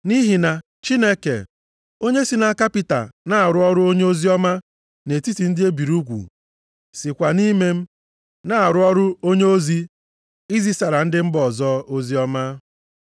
Nʼihi na Chineke onye si nʼaka Pita na-arụ ọrụ onyeozi oziọma nʼetiti ndị e biri ugwu, sikwa nʼime m na-arụ ọrụ onyeozi izisara ndị mba ọzọ oziọma.